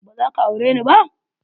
Ba za ka aure ni ba?